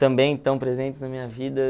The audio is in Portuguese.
também estão presentes na minha vida.